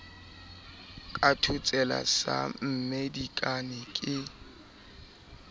ka thotsela sa mmedikane ke